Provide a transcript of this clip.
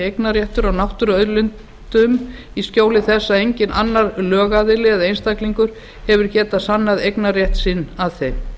eignarréttur á náttúruauðlindum í skjóli þess að enginn annar lögaðili eða einstaklingur hefur getað sannað eignarrétt sinn að þeim